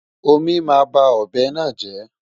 Omí máa ba ọ̀bẹ náà jẹ́.